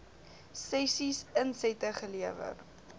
sessies insette gelewer